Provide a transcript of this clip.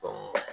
Ɔ